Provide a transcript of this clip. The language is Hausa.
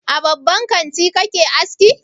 A babban kanti kake aski?